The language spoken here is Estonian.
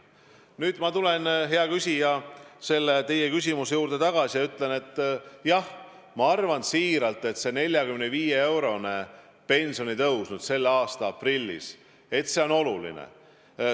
Nüüd aga tulen, hea küsija, teie küsimuse juurde tagasi ja ütlen: jah, ma arvan tõesti, et 45-eurone pensionitõus selle aasta aprillis on oluline.